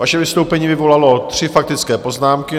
Vaše vystoupení vyvolalo tři faktické poznámky.